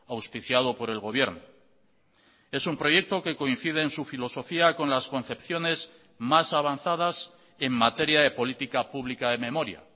auspiciado por el gobierno es un proyecto que coincide en su filosofía con las concepciones más avanzadas en materia de política pública de memoria